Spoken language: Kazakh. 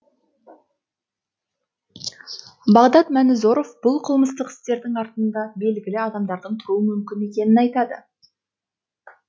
бағдат мәнізоров бұл қылмыстық істердің артында белгілі адамдардың тұруы мүмкін екенін айтады